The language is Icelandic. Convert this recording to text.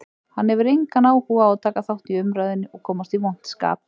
Hann hefur engan áhuga á að taka þátt í umræðunni og komast í vont skap.